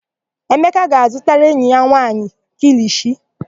Emeka ga-azụtara enyi ya nwaanyị kilishi.